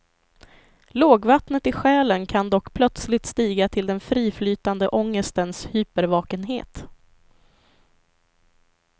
Lågvattnet i själen kan dock plötsligt stiga till den friflytande ångestens hypervakenhet.